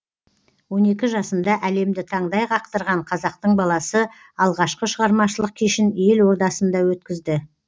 он екі жасында әлемді таңдай қақтырған қазақтың баласы алғашқы шығармашылық кешін ел ордасында өткізді